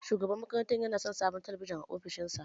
Shugaban makarantar yana son sabon talabijin a ofishinsa.